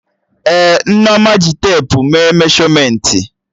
Ee, Nneoma ji tepu mee meshọmentị